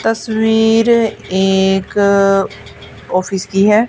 तस्वीर एक ऑफिस की है।